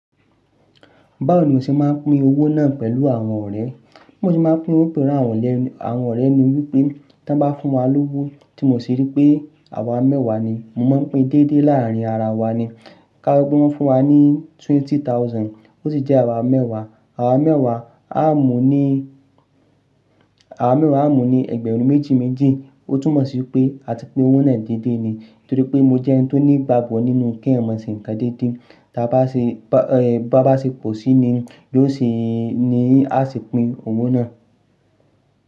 Báwo ni o ṣe máa ń pín owó náà pẹ̀lú àwọn ọ̀rẹ́? Bí mo ṣe máa ń pín owó pẹ̀lú àwọn ọ̀rẹ́ ni wípé tí wọ́n bá fún wa lówó tí mo sì rí pé àwa mẹ́wàá ni, mo máa ń pín déédéé láàárín ara wa ni. Ka wípé wọ́n fún wa ní twenty thousand, ó sì jẹ́ àwa mẹ́wàá, àwa mẹ́wàá á mu ní, àwa mẹ́wàá á mu ní ẹgbẹ̀rún méjì méjì, ó tún mọ̀ sí pé a ti pín owó náà déédéé ni. Torí pé mo jẹ́ ẹni tó ní ìgbàgbọ́ nínú kí ẹ̀mọ̀ ṣì ń kan déédéé, bá ṣe pọ̀ sí i ni ló ṣe ni a sì pín owó náà.